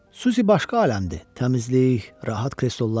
Susi başqa aləmdir: təmizlik, rahat kreslollar.